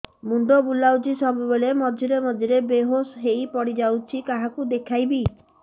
ମୁଣ୍ଡ ବୁଲାଉଛି ସବୁବେଳେ ମଝିରେ ମଝିରେ ବେହୋସ ହେଇ ପଡିଯାଉଛି କାହାକୁ ଦେଖେଇବି